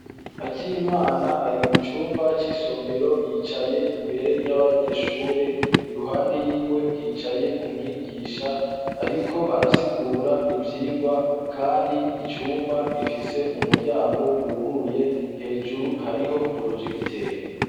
akimana ari mu cyumba cy'isomero yicaye imbere y'abanyeshure iruhande yiwe hicaye umwigisha ariko arasigura ibyigwa kandi icyumba gifise umuryango wuguruye hejuru hariho porojegiteri